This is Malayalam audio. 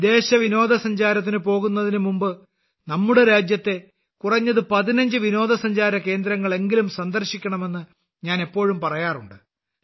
വിദേശ വിനോദസഞ്ചാരത്തിന് പോകുന്നതിന് മുമ്പ് നമ്മുടെ രാജ്യത്തെ കുറഞ്ഞത് 15 വിനോദസഞ്ചാര കേന്ദ്രങ്ങളെങ്കിലും സന്ദർശിക്കണമെന്ന് ഞാൻ എപ്പോഴും പറയാറുണ്ട്